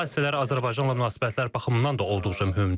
Bu hadisələr Azərbaycanla münasibətlər baxımından da olduqca mühümdür.